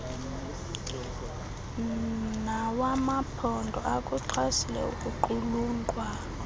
nawamaphondo akuxhasile ukuqulunqwa